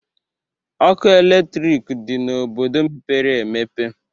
Ọkụ eletrik dị n'obodo mepere emepe